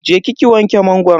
Je ki ki wanke mangoron.